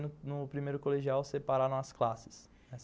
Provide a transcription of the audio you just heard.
No primeiro colegial separaram as classes.